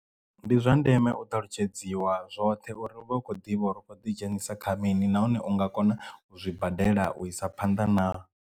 Ndi zwa ndeme u ṱalutshedziwa zwoṱhe uri u vha u kho ḓivha uri u khou ḓidzhenisa kha mini nahone u nga kona u zwibadela u isa phanḓa na.